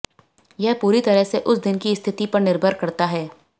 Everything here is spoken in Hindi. यह पूरी तरह से उस दिन की स्थिति पर निर्भर करता है